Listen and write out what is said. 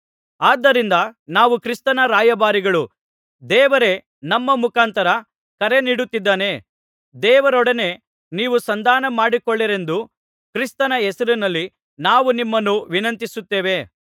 ಆದ್ದರಿಂದ ನಾವು ಕ್ರಿಸ್ತನ ರಾಯಭಾರಿಗಳು ದೇವರೇ ನಮ್ಮ ಮುಖಾಂತರ ಕರೆನೀಡುತ್ತಿದ್ದಾನೆ ದೇವರೊಡನೆ ನೀವು ಸಂಧಾನಮಾಡಿಕೊಳ್ಳಿರೆಂದು ಕ್ರಿಸ್ತನ ಹೆಸರಿನಲ್ಲಿ ನಾವು ನಿಮ್ಮನ್ನು ವಿನಂತಿಸುತೇವೆ